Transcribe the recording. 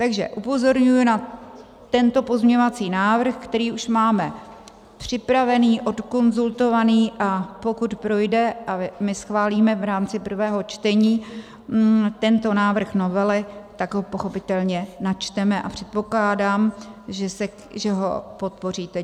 Takže upozorňuji na tento pozměňovací návrh, který už máme připravený, odkonzultovaný, a pokud projde a my schválíme v rámci prvního čtení tento návrh novely, tak ho pochopitelně načteme a předpokládám, že ho podpoříte.